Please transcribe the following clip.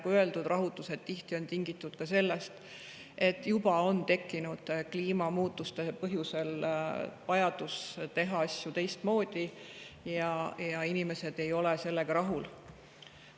Nagu öeldud, rahutused on tihti tingitud sellest, et kliimamuutuste tõttu on juba tekkinud vajadus teha asju teistmoodi ja inimesed ei ole sellega rahul.